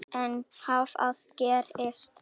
En hvað gerist.